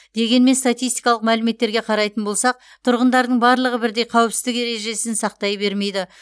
дегенмен статистикалық мәліметтерге қарайтын болсақ тұрғындардың барлығы бірдей қауіпсіздік ережесін сақтай бермейді